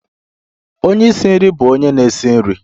Onye isi nri bụ onye na-esi nri